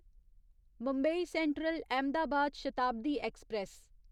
Mumbai central Ahmedabad Shatabdi express